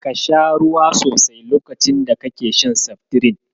Ka sha ruwa sosai lokacin da kake shan Seftirin.